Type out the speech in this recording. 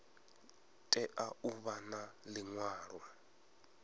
tea u vha na liṅwalo